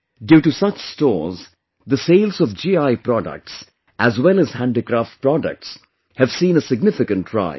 Due to such stores, the sales of GI products as well as handicraft products have seen a significant rise